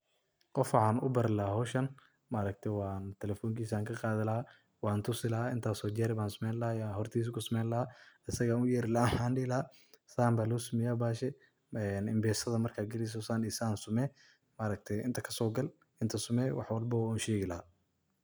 Qoof waxan ubari lahay hoshan, telefonkisa ayan kaqadhi lahay wantusi lahay intas oo jer ban sameyni lahay hortisa kusameyni lahay, asaga ayan uyeri lahay waxan dihi lahay san ba losameya bahashi impesadha markad galeyso san iyo san samee inta kasogal inta samee wax walbo wan ushegi lahay.